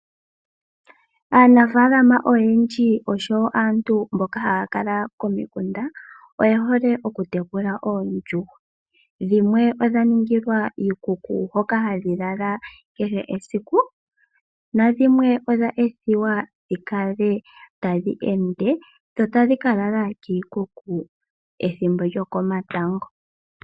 Aanafalama oyendji naantu mboka haya kala komikunda oye hole okutekula oondjuhwa, dhimwe odha ningilwa iikuku hoka hadhi lala kehe esiku nadhimwe odha ethiwa dhikale tadhi ende dho tadhi ka lala kiikuku ethimbo lyokomatango.